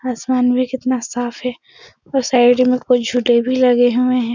आसमान भी कितना साफ है और साइड में कुछ झूले भी लगे हुए हैं।